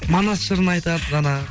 манас жырын айтады жаңағы